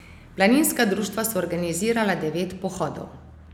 Planinska društva so organizirala devet pohodov.